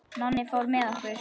Nonni fór með okkur.